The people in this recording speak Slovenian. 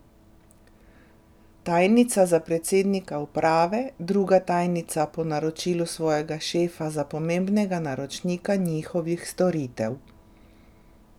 Tajnica za predsednika uprave, druga tajnica po naročilu svojega šefa za pomembnega naročnika njihovih storitev.